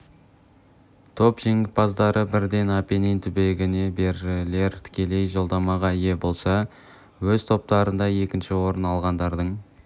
топ жеңімпаздары бірден апеннин түбегіне берілер тікелей жолдамаларға ие болса өз топтарында екінші орын алғандардың